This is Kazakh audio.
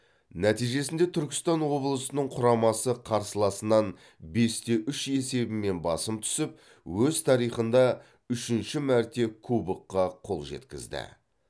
нәтижесінде түркістан облысының құрамасы қарсыласынан бесте үш есебімен басым түсіп өз тарихында үшінші мәрте кубокқа қол жеткізді